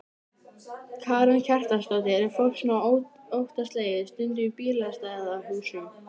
Karen Kjartansdóttir: Er fólk svona óttaslegið stundum í bílastæðahúsum?